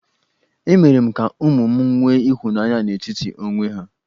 Emere m ka ụmụ m nwe ịhụnanya n'etiti onwe ha.